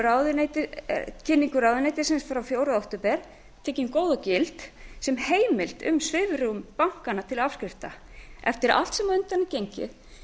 minnst er á í fréttatilkynningu ráðuneytisins frá fjórða október tekin góð og gild sem heimild um svigrúm bankanna til afskrifta eftir allt sem á undan er gengið